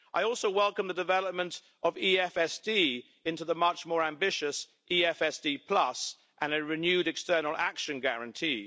I also welcome the development of EFSD into the much more ambitious EFSD and a renewed external action guarantee.